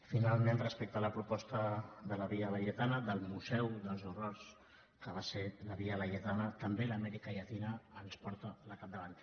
finalment respecte a la proposta de la via laietana del museu dels horrors que va ser la via laietana també l’amèrica llatina se’ns ha posat al capdavant